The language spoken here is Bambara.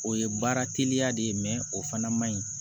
O ye baara teliya de o fana man ɲi